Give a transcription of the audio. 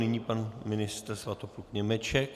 Nyní pan ministr Svatopluk Němeček.